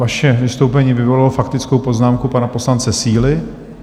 Vaše vystoupení vyvolalo faktickou poznámku pana poslance Síly.